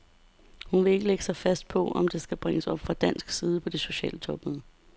Hun vil ikke lægge sig fast på, om det skal bringes op fra dansk side på det sociale topmøde.